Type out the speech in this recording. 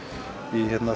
í